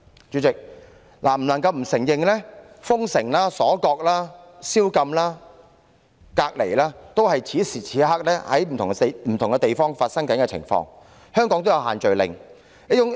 主席，不能否認的是，封城、鎖國、宵禁和隔離等情況，此時此刻正在不同地方發生，香港亦有推行限聚令。